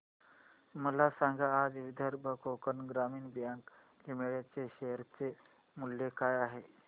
मला सांगा आज विदर्भ कोकण ग्रामीण बँक लिमिटेड च्या शेअर चे मूल्य काय आहे